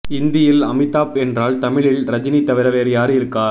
இந்தியில் அமிதாப் என்றால் தமிழில் ரஜினி தவிர வேறு யாரு இருக்கா